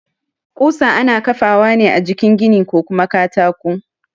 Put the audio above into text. Ƙusa ana ƙafawa ne a jikin gini ko kuma katako